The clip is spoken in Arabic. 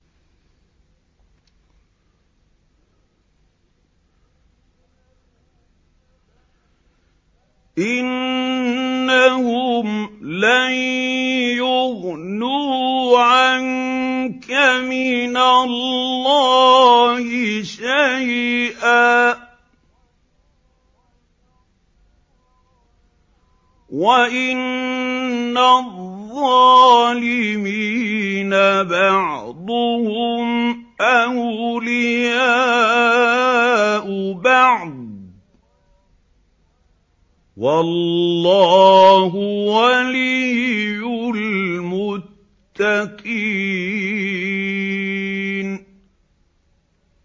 إِنَّهُمْ لَن يُغْنُوا عَنكَ مِنَ اللَّهِ شَيْئًا ۚ وَإِنَّ الظَّالِمِينَ بَعْضُهُمْ أَوْلِيَاءُ بَعْضٍ ۖ وَاللَّهُ وَلِيُّ الْمُتَّقِينَ